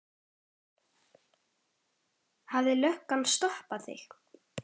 Hefur löggan stoppað þig?